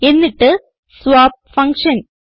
എന്നിട്ട് swap function